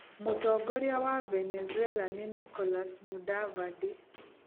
Mũtongoria wa Venezuela nĩ Nicolás Mudavadi.